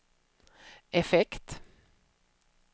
effekt